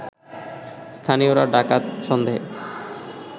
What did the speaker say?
স্থানীয়রা ডাকাত সন্দেহে